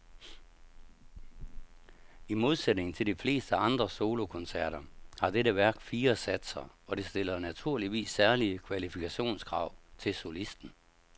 I modsætning til de fleste andre solokoncerter har dette værk fire satser, og det stiller naturligvis særlige kvalifikationskrav til solisten.